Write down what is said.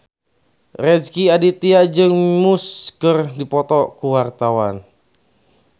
Rezky Aditya jeung Muse keur dipoto ku wartawan